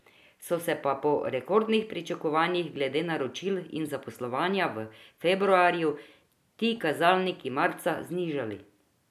So se pa po rekordnih pričakovanjih glede naročil in zaposlovanja v februarju ti kazalniki marca znižali.